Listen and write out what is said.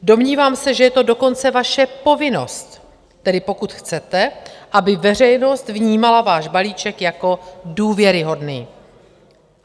Domnívám se, že je to dokonce vaše povinnost, tedy pokud chcete, aby veřejnost vnímala váš balíček jako důvěryhodný.